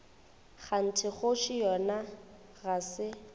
kganthe kgoši yona ga se